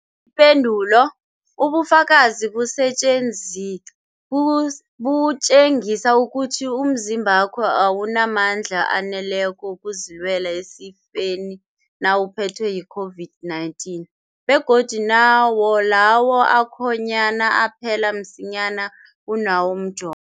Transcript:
Ipendulo, ubufakazi butjengisa ukuthi umzimbakho awunamandla aneleko wokuzilwela esifeni nawuphethwe yi-COVID-19, begodu nawo lawo akhonyana aphela msinyana kunawomjo